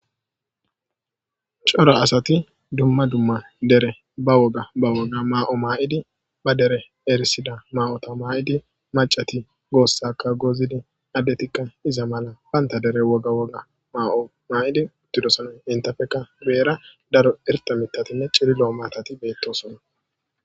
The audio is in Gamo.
cora asati dumma dumma dere ba woga ba woga maa7o maa7idi ba dere erisida ma7ota maa7idi macati goossaka gozidi addetikka iza mala banta dere woga woga maa7o maayidi uttidosanoy intafeka beera daro irta mitatine ciri lo7o matati beettosona